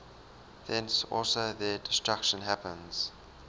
thence also their destruction happens